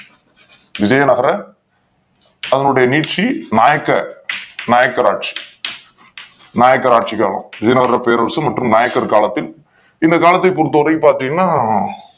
விஜயநாதர் அதனுடைய நீட்சி நாயக்கர் நாயக்கர் ஆட்சி காலம் விஜயநாதர் பேரரசு மற்றும் நாயக்கர் காலத்தின் இந்த காலத்தை பொறுத்த வரைக்கும் பாத்தீங்கன்னா